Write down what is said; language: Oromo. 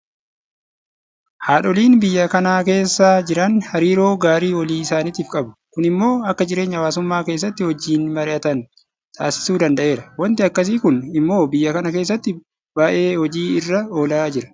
Haadholiin biyya kana keessa jiran hariiroo gaarii walii isaaniitiif qabu. Kun immoo akka jireenya hawaasummaa keessatti wajjin mari'atan taasisuu danda'eera. Waanti akkasii kun immoo biyya kana keessatti baay'ee hojii irra oolaa jira.